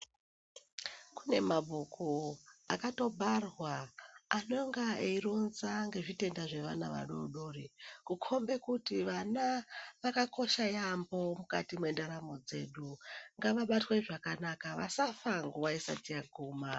Kune mabhuku akatobharwa anonga eironza ngezvitenda zvevana vadodori kukombe kuti vana vakakoshe yambo mukati mwendaramo dzedu ngavabatwe zvakanaka vasafa nguwa isati yaguma.